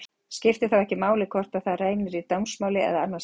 Skiptir þá ekki máli hvort á þær reynir í dómsmáli eða annars staðar.